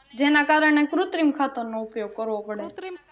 જેના કારણે કુત્રિમ ખાતર નો ઉપયોગ કરવો પડે